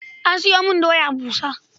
Ka sayo min doya busa.